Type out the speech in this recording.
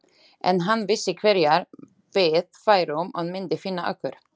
En hann vissi hverjar við værum og myndi finna okkur.